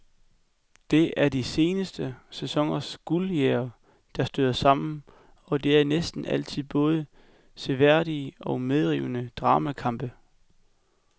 Det er de seneste sæsoners guldjægere, der støder sammen, og det er næsten altid både seværdige og medrivende dramakampe.